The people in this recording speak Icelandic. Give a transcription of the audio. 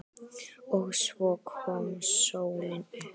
OG SVO KOM SÓLIN UPP.